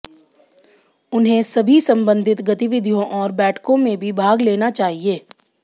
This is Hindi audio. उन्हें सभी संबंधित गतिविधियों और बैठकों में भी भाग लेना चाहिए